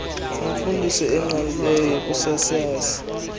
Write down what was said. nemfundiso engqalileyo yokusasaza